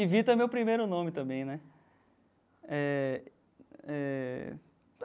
E Vitor é meu primeiro nome também, né? Eh eh.